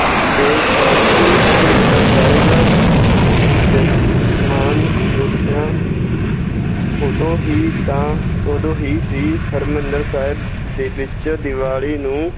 ਤੇ ਹਰਿਮੰਦਰ ਸਾਹਿਬ ਉਠਿਆ ਉਦੋਂ ਹੀ ਤਾਂ, ਉਦੋਂ ਹੀ ਸੀ ਹਰਿਮੰਦਰ ਸਾਹਿਬ ਦੇ ਵਿੱਚ ਦਿਵਾਲੀ ਨੂੰ